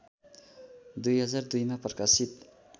२००२ मा प्रकाशित